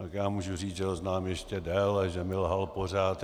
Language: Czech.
Tak já mohu říci, že ho znám ještě déle, že mi lhal pořád.